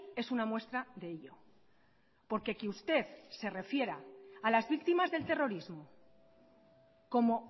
es una muestra de ello porque que usted se refiera a las víctimas del terrorismo como